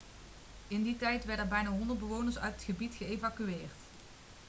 in die tijd werden er bijna 100 bewoners uit het gebied geëvacueerd